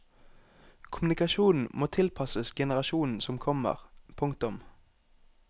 Kommunikasjonen må tilpasses generasjonen som kommer. punktum